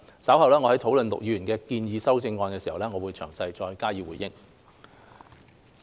稍後我們討論陸議員的建議修正案時，我會再就此詳細回應。